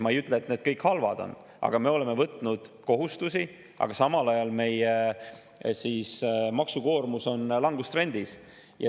Ma ei ütle, et need kõik halvad on, aga me oleme võtnud kohustusi, samal ajal kui meie maksu on langustrendis.